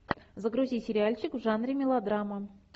загрузи сериальчик в жанре мелодрама